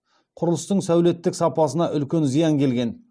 құрылыстың сәулеттік сапасына үлкен зиян келген